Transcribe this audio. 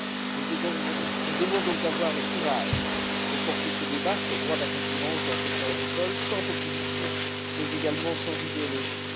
Nous devons donc avoir le courage de mener ce débat sur le droit de la concurrence dans le secteur agricole sans populisme mais également sans idéologie.